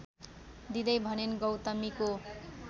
दिदै भनिन् गौतमीको